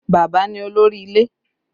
Bàbá ni olórí ilé